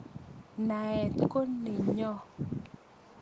Naet ko nenyoo